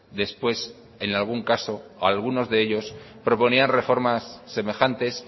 después en algún caso algunos de ellos proponían reformas semejantes